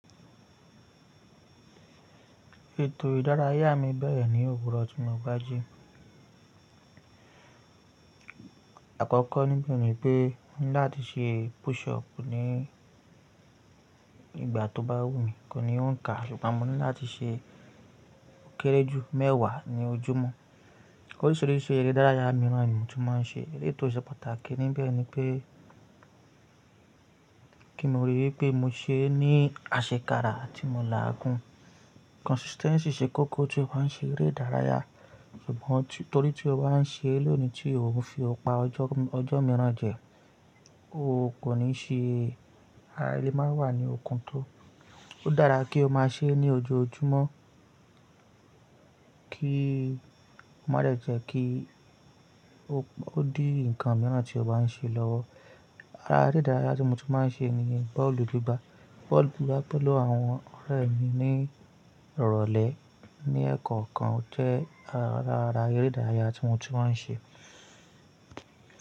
Ètò ìdárayá mi bẹ̀rẹ̀ ní òwúrọ̀ tí mo bá jí. Àkọ́kọ́ níbi ni pé mo ní láti ṣe push up ní ìgbà tó bá wù mí, kò ní òǹkà. Ṣùgbọ́n mo ní láti ṣe ó kéré jù mẹ́wàá ní ojúmọ́. Oríṣìíríṣìí eré ìdárayá mìíràn ni mo ti máa ń ṣe. Eleyii tó ṣe pàtàkì níbẹ̀ ni pé kí mo rí i pé mo se ní àṣekára tí mo làágùn. Consistency ṣe kókó tí o bá ń ṣe eré ìdárayá. Ṣùgbọ́n torí tí o bá ń ṣe lónìí tí ò ń fi ọpa ọjọ́ mìíràn jẹ, o kò ní ṣe ara ẹ le máa wà ní okun tó. Ó dára kí o má ṣe é ní ojoojúmọ́ kí ó má lè jẹ́ kí, kó di nǹkan mìíràn tí o bá ń ṣe lọ́wọ́. Ara eré ìdárayá tí mo ti máa ń ṣe ni bọ́ọ̀lù gbigbà. Bọ́ọ̀lù gbigbà pẹ̀lú àwọn ọ̀rẹ́ mi ní ìrọ̀lẹ́ ní ẹkan kan jẹ́ ara eré ìdárayá tí wan tu wáa ń ṣe.